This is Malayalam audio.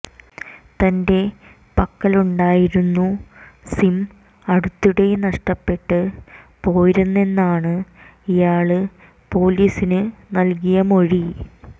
തന്റെ പക്കലുണ്ടായിരുന്നു സിം അടുത്തിടെ നഷ്ടപ്പെട്ടു പോയിരുന്നെന്നാണ് ഇയാള് പൊലീസിന് നല്കിയ മൊഴി